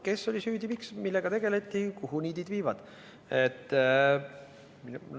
Kes oli süüdi ja miks, millega tegeleti ja kuhu niidid viivad?